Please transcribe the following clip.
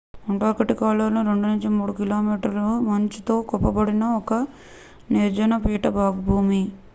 Antarctica లో 2-3 కి.మీ మంచు తో కప్పబడిన ఒక నిర్జన పీఠభూమి